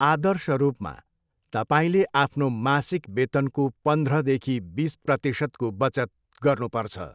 आदर्श रूपमा, तपाईँले आफ्नो मासिक वेतनको पन्ध्रदेखि बिस प्रतिशतको बचत गर्नुपर्छ।